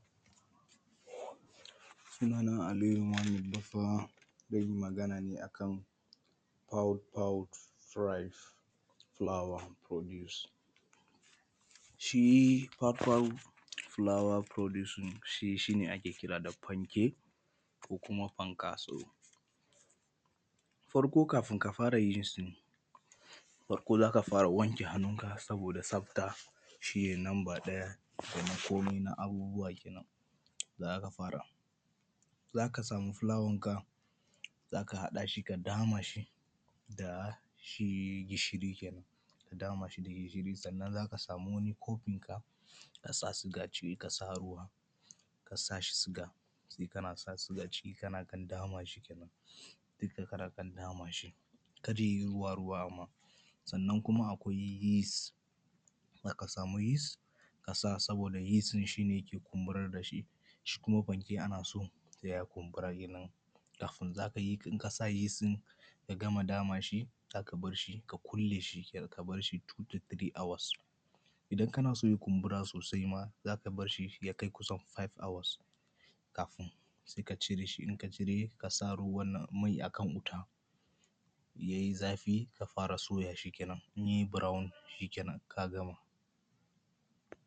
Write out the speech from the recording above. sunana aliyu muhammad baffa zan yi magana ne a kan pout pout prize flower produce shi pout pout flower producing shi shi ne ake kira da fanke ko kuma fankasau farko kafin ka fara yin su farko za ka fara wanke hannunka saboda tsafta shi ne lamba ɗaya domin komi na abubuwa kenan za ka fara za ka samu fulawanka za ka haɗa shi ka dama shi da shi gishiri kenan ka dama shi da gishiri sannan za ka samu wani kofinka ka sa suga ciki ka sa ruwa ka sa suga sai kana sa suga ciki kana ɗan dama shi kenan dukka kana kan dama shi kar ya yi ruwa ruwa amma sannan kuma akwai yeast za ka samu yeast ka sa saboda yeast ɗin shi ne yake kumburar da shi shi kuma fanke ana son ya kumbura kenan kafin in ka sa yeast ɗin ka gama dama shi za ka bar shi ka kulle shi ka bar shi two to three hours idan kana so ya kumbura sosai ma za ka bar shi ya kai kusan five hours ka:fin sai ka cire in ka cire sai ka sa mai a kan wuta ya yi zafi ka fara soya shi kenan in ya yi brown shi kenan ka gama